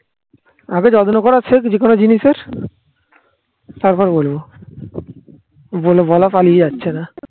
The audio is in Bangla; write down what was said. আগে যত্ন করা সেখ যে কোন জিনিসের তারপর বলবো বলে বলা পালিয়ে যাচ্ছে না